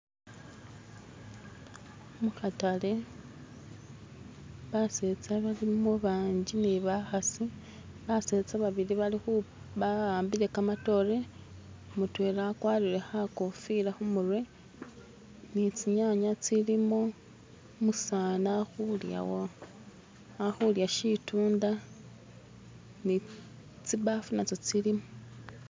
Mukataale baseeza balimo bagali ni bakaasi baseeza babili bawambile gamadoote mudwema agwatire kakofiira kumutwe ni zinyanya zilimo, umuseeza akulya shitunda nizibbafu nazo ziliwo.